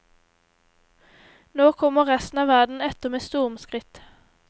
Nå kommer resten av verden etter med stormskritt.